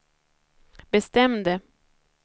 bestämde